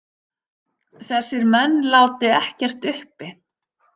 Þessir menn láti ekkert uppi.